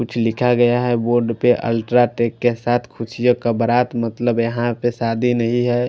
कुछ लिखा गया है बोर्ड पे अल्ट्रा टेक के साथ खुशियों का बरात मतलब यहा पे शादी नही है।